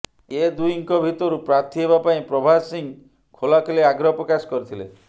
ଏ ଦିହିଁଙ୍କ ଭିତରୁ ପ୍ରାର୍ଥୀ ହେବା ପାଇଁ ପ୍ରଭାସ ସିଂହ ଖୋଲାଖୋଲି ଆଗ୍ରହ ପ୍ରକାଶ କରିଥିଲେ